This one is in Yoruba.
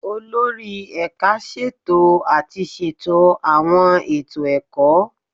Olórí Ẹ̀ka ṣètò àti ṣètò àwọn ètò ẹ̀kọ́